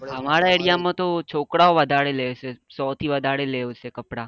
અમારા area માં તો છોકરાઓ વધારે લે છે.